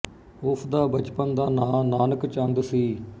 ਉਸ ਦਾ ਬਚਪਨ ਦਾ ਨਾਂ ਨਾਨਕ ਚੰਦ ਸੀ